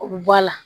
O bɛ bɔ a la